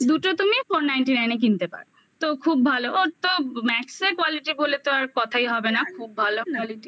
দুটো তুমি four ninety nine এ কিনতে পারো. তো খুব ভালো. ওর তো max quality বলে তো আর কথাই হবে না খুব ভালো quality